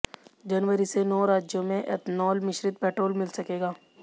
जनवरी से नौ राज्यों में एथनॉल मिश्रित पेट्रोल मिल सकेगा